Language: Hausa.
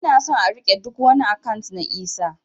Ina son a rike ɗuk wani akant na Isah